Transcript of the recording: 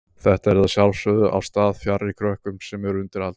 Þetta yrði að sjálfsögðu á stað fjarri krökkum sem eru undir aldri.